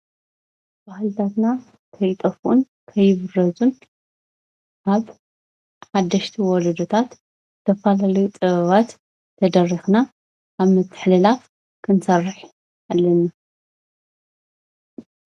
ባህልታትና ከይጠፍኡን ከይብረዙን ኣብ ሓደሽቲ ወለዶታት ተፈላለዩ ጥበባት ተደሪኽና ኣብ ምትሕልላፍ ክንሰርሕ ኣለና፡፡